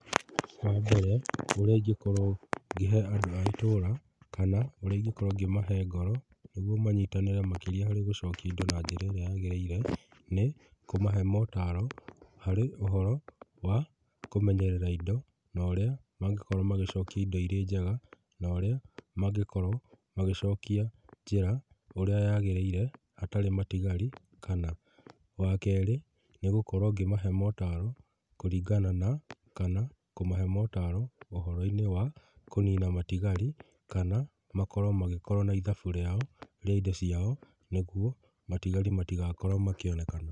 Wa mbere ũrĩa ingĩkorwo ngĩhe andũ a itũra kana ũrĩa ingĩkorwo ngĩmahe ngoro nĩguo manyitanĩre makĩria na njĩra ĩrĩa yagĩrĩire, nĩ kũmahe motaro harĩ ũhoro wa kũmenyerera indo na ũrĩa mangĩhota gũcokia indo irĩ njega, na ũrĩa mangĩkorwo magĩcokia njĩra ũrĩa yagĩrĩire hatarĩ matigari. Kana wa kerĩ nĩ gũkorwo ngĩmahe motaro kũringana na kana kũmahe motaro ũhoro-inĩ wa kũnina matigari kana makorwo magĩkorwo na ithabu rĩao rĩa indo ciao nĩ guo matigari matigakorwo makĩonekana.